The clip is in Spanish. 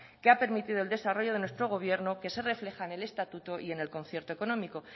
que ha permitido el desarrollo de nuestro gobierno que se refleja en el estatuto y en el concierto económico